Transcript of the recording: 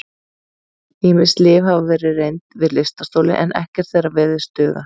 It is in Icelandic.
Ýmis lyf hafa verið reynd við lystarstoli en ekkert þeirra virðist duga.